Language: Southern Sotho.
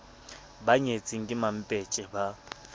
ba nyetseng ke mampetje ba